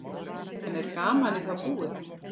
En er gamanið þá búið?